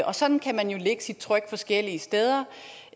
sådan kan man jo lægge sit tryk forskellige steder